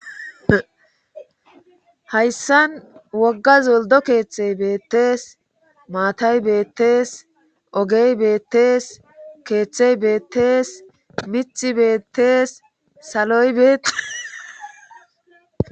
Hayssan wogga zoldo keeththey beettees maatay beettees ogey beettees keeththey beettees mithi beettees saloy beeti